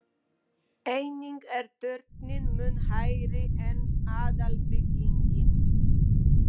Einnig er turninn mun hærri en aðalbyggingin.